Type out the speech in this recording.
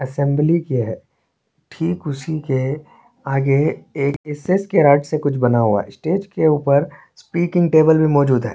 Assembly किया है ठीक उसी के आगे एक एसेस की रॉड से कुछ बना हुआ है स्टेज के ऊपर स्पीकिंग टेबल मौजूद है।